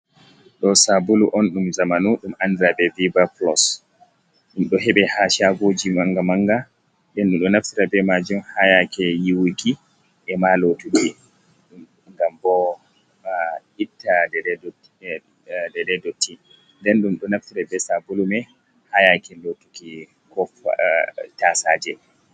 Do sabulu on dum zamanu dum andira be viva plus, dum do hebe ha shagoji manga manga den dum do naftira be majim hayake yiwuki e ma lotuki gam bo ma itta dededotti den dum do naftira be sabulu mei hayake lotuki ko tasaje.